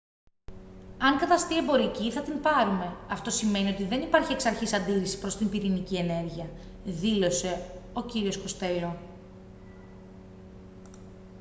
«αν καταστεί εμπορική θα την πάρουμε. αυτό σημαίνει ότι δεν υπάρχει εξαρχής αντίρρηση προς την πυρηνική ενέργεια» δήλωσε ο κ. κοστέλο